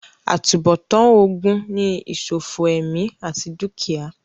àtúnbọ̀tán ogun ni ìsòfò ẹ̀mí àti dúkìá